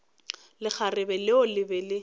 lekgarebe leo le be le